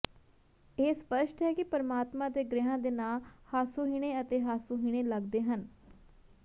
ਇਹ ਸਪੱਸ਼ਟ ਹੈ ਕਿ ਪਰਮਾਤਮਾ ਅਤੇ ਗ੍ਰਹਿਆਂ ਦੇ ਨਾਂ ਹਾਸੋਹੀਣੇ ਅਤੇ ਹਾਸੋਹੀਣੇ ਲੱਗਦੇ ਹਨ